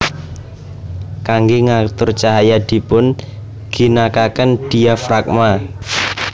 Kangge ngatur cahaya dipun ginakaken diafragma